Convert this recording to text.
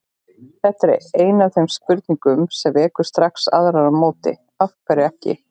Þetta er ein af þeim spurningum sem vekur strax aðrar á móti: Af hverju ekki?